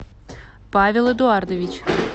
павел эдуардович